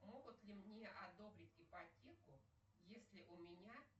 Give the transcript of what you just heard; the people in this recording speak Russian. могут ли мне одобрить ипотеку если у меня